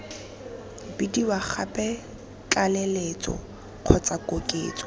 bidiwa gape tlaleletso kgotsa koketso